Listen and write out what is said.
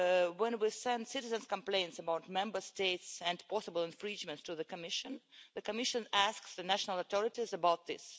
When we send citizens' complaints about Member States and possible infringements to the Commission, the Commission asks the national authorities about this.